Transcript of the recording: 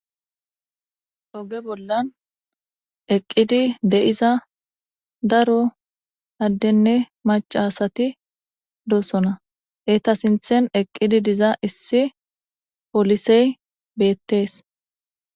Hayssa ha'i tani misileza bolla xeelishin beetizay aaze gizayssa gidikko daro asati ekidi detesi izeta sinththeni poliseyi ekidi betesi.